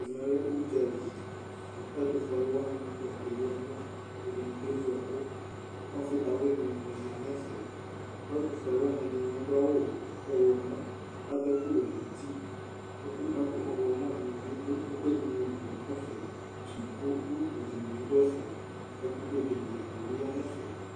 Ɛmɛ lɛ ʋdzali ; ɛtʋ fue alʋ wanɩ akeyi ɛkʋ, ɛdɩnɩ kevu ɛkʋƆfɩ dawlɩ nɩ ma nɛfɛK ' ɛtʋ fue alʋ wanɩ ,ɛdɩnɩ adʋ awʋ ɔɣlɔmɔ ,adʋ ɛkʋ wɛ nutiƐkʋ lɛ mʋ ɔɣlɔmɔ dɩnɩ bɩ dʋ ɛkʋɛdɩ li, utu dɩnɩ bɩ dʋ ɛfɛ, ɛkʋtɛ dɩnɩ bɩ ya nɛfɛ